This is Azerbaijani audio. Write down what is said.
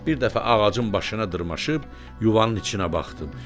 Bir dəfə ağacın başına dırmaşıb yuvanın içinə baxdım.